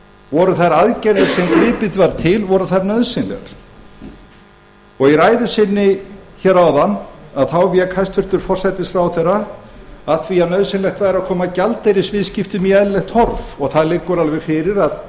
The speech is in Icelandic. voru þær aðgerðir sem gripið var til voru þær nauðsynlegar og í ræðu sinni hér áðan þá vék hæstvirtur forsætisráðherra að því að nauðsynlegt væri að koma gjaldeyrisviðskiptum í eðlilegt horf og það liggur alveg fyrir að